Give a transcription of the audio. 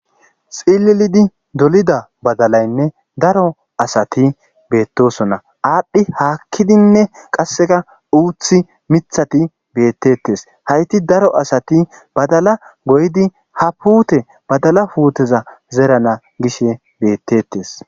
xilelidi dolida badalaynne daro asati beettosona aadhdhi haakkidinne qasseka uuthi mithati beettettes hayti daro asati badala goydi ha puute badala puuteza zerana gishe beettettes